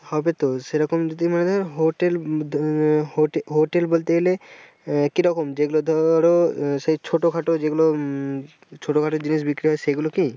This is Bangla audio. হবে তো সেরকম যদি মানে hotel আহ hotel বলতে গেলে আহ কি রকম যেগুলো ধর সেই ছোটখাটো যেগুলো উম ছোটখাটো জিনিস বিক্রি হবে সেগুলো কি?